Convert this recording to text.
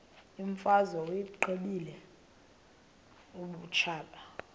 imfazwe uyiqibile utshaba